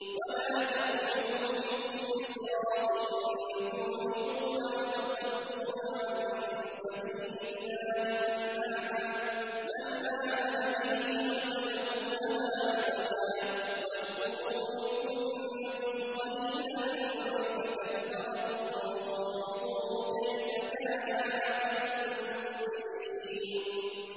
وَلَا تَقْعُدُوا بِكُلِّ صِرَاطٍ تُوعِدُونَ وَتَصُدُّونَ عَن سَبِيلِ اللَّهِ مَنْ آمَنَ بِهِ وَتَبْغُونَهَا عِوَجًا ۚ وَاذْكُرُوا إِذْ كُنتُمْ قَلِيلًا فَكَثَّرَكُمْ ۖ وَانظُرُوا كَيْفَ كَانَ عَاقِبَةُ الْمُفْسِدِينَ